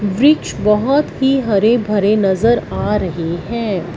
वृक्ष बहोत ही हरे भरे नजर आ रहे हैं।